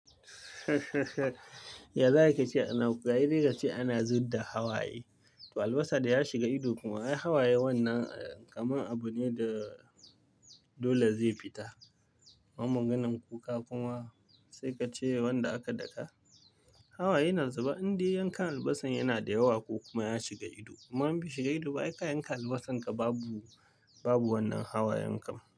Yanzu ake cewa ana, gari dai ake cewa ana zuba da hawaye. Albasa da ya shiga ido kuma akwai hawaye wannan, kamar abu ne da dole zai fita. Man maganan kuka kuma sai ka cewa wanda aka daka. Hawaye na zuba indai yanka albasan yana da yawa ko kuma ya shiga ido. Kuma in bai shiga ido ba, ai ka yanka albasanka babu, babu wannan hawayen kam.